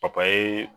Papaye